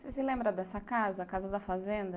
Você se lembra dessa casa, a casa da fazenda?